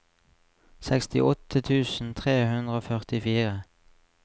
sekstiåtte tusen tre hundre og førtifire